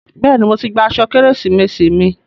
Bẹ́ẹ̀ni, mo ti gba aṣọ Kérésìmesì mi.